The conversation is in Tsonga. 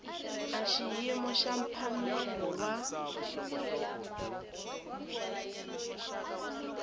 a xiyimo xa mphamelo wa